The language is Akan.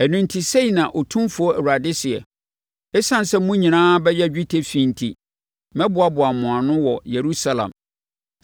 Ɛno enti sei na Otumfoɔ Awurade seɛ: ‘Esiane sɛ mo nyinaa abɛyɛ dwetɛ fi enti, mɛboaboa mo ano wɔ Yerusalem.